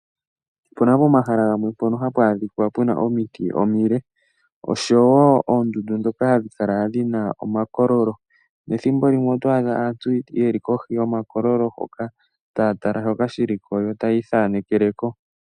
Opuna pomahala gamwe mpono hapu adhika puna omiti omile, oshowo oondundu ndhoka hadhi kala dhina omakololo. Ethimbo limwe oto adha aantu ye li kohi yomakololo, taya tala shoka shiliko, yo tayii thaanekele ko.